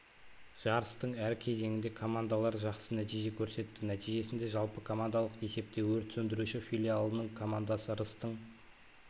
жарыстың әр кезеңінде командалар жақсы нәтиже көрсетті нәтижесінде жалпы командалық есепте өрт сөндіруші филиалының командасы рыстың